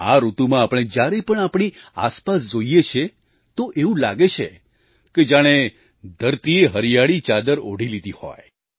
આ ઋતુમાં આપણે જ્યારે પણ આપણી આસપાસ જોઈએ છીએ તો એવું લાગે છે કે જાણે ધરતીએ હરિયાળી ચાદર ઓઢી લીધી હોય